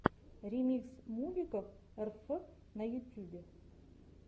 ремикс мувиков рф на ютьюбе